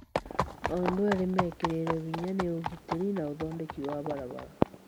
Maũndũ meerĩ mekĩrĩirwo hinya nĩ ũgĩtĩri na ũthondeki wa barabara.